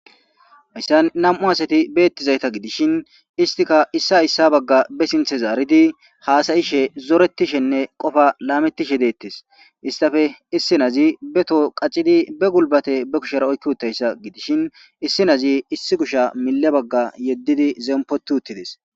hayssan nam7u asati beettizayta gidishin istika issa hayssa bagga be sinthe zaaridi haasayishe zoretishenne qofa laamettishe deettes istafe issinazi beto qacidi be gulbate be kushera oykki uttayssa gidishin issinazi issi kusha mile bagga yeddidi zempoti uttides